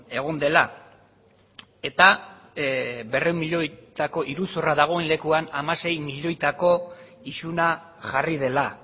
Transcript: egon dela eta berrehun milioitako iruzurra dagoen lekuan hamasei milioitako isuna jarri dela